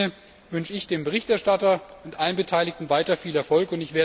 In diesem Sinne wünsche ich dem Berichterstatter und allen Beteiligten weiter viel Erfolg.